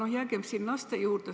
Aga jäägem siin laste juurde.